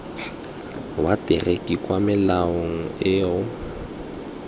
wa materiki kwala melao eo